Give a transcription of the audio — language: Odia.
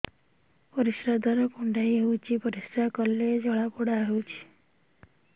ପରିଶ୍ରା ଦ୍ୱାର କୁଣ୍ଡେଇ ହେଉଚି ପରିଶ୍ରା କଲେ ଜଳାପୋଡା ହେଉଛି